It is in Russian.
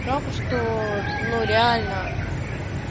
жалко что ну реально